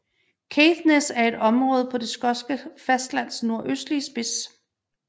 Caithness er et område på det skotske fastlands nordøstlige spids